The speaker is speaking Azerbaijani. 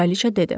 Kraliça dedi.